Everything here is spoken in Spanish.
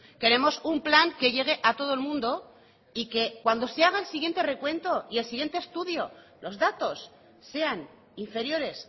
queremos un plan que llegue a todo el mundo y que cuando se haga el siguiente recuento y el siguiente estudio los datos sean inferiores